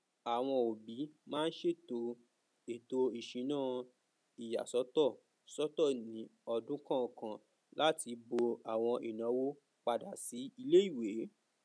àwọn òbí maa n ṣètò ètò ìsúná ìyàsọtọ sọtọ ní ọdún kọọkan láti bo àwọn ìnáwó padà sí iléìwé